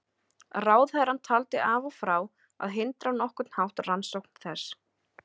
Ráðherrann taldi af og frá að hindra á nokkurn hátt rannsókn þess.